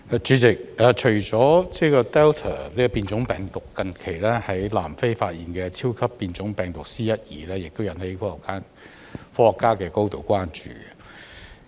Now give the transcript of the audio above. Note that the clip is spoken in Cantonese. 主席，除了 Delta 變種病毒，近期在南非發現的超級變種病毒 "C.1.2" 也引起科學家的高度關注。